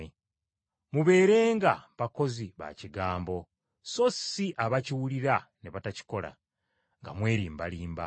Mubeerenga bakozi ba kigambo, so si abakiwulira ne batakikola, nga mwerimbarimba.